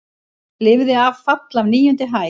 Lifði af fall af níundu hæð